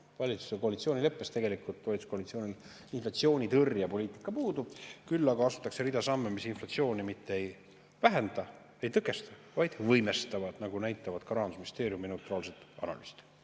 Valitsuse koalitsioonileppes valitsuskoalitsioonil inflatsioonitõrjepoliitika puudub, küll aga astutakse rida samme, mis inflatsiooni mitte ei vähenda ega tõkesta, vaid võimestavad, nagu näitavad ka Rahandusministeeriumi neutraalsed analüüsid.